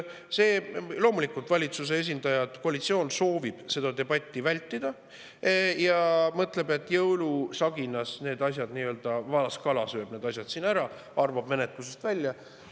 Loomulikult, valitsuse esindajad ja koalitsioon soovivad seda debatti vältida ja mõtlevad, et jõulusaginas nii-öelda valaskala sööb need asjad ära, arvab menetlusest välja.